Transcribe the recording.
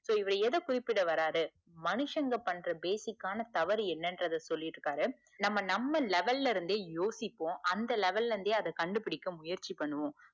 so இவரு எத குறிப்பிட வராரு மனுஷங்க பண்ற basic ஆனா தவறு என்னென்னு சொல்லிருக்காரு நம்ம நம்ம level இருந்தே யோசிப்போம் அந்த level ல இருந்தே அத கண்டுபுடிக்க முயற்சிப்போம்